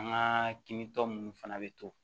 An ka kin tɔ munnu fana bɛ to